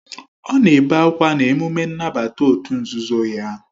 Ọ na-ebe akwa na emume nnabata òtù nzuzo ya